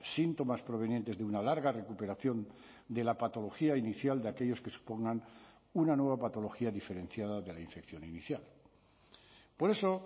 síntomas provenientes de una larga recuperación de la patología inicial de aquellos que supongan una nueva patología diferenciada de la infección inicial por eso